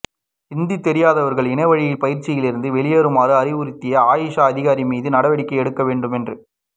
ஹிந்தி தெரியாதவா்கள் இணையவழிப் பயிற்சிலிருந்து வெளியேறுமாறு அறிவுறுத்திய ஆயுஷ் அதிகாரி மீது நடவடிக்கை எடுக்க வேண்டும் என்று